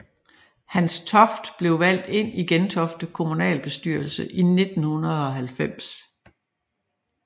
Hans Toft blev valgt ind i Gentofte Kommunalbestyrelse i 1990